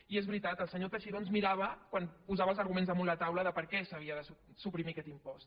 i és veritat el senyor teixidó ens mirava quan posava els arguments damunt la taula de per què s’havia de suprimir aquest impost